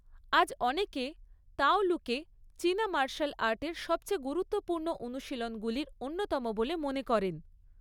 আজ অনেকে তাওলুকে চীনা মার্শাল আর্টের সবচেয়ে গুরুত্বপূর্ণ অনুশীলনগুলির অন্যতম বলে মনে করেন।